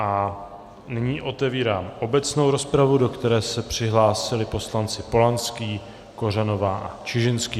A nyní otevírám obecnou rozpravu, do které se přihlásili poslanci Polanský, Kořanová a Čižinský.